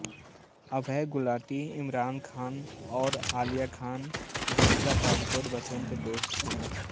अभय गुलाटी इमरान खान और आलिया खान दीपिका पादुकोण बचपन के दोस्त है